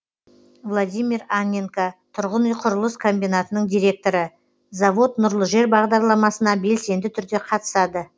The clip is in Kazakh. владимир анненко тұрғын үй құрылыс комбинатының директоры завод нұрлы жер бағдарламасына белсенді түрде қатысады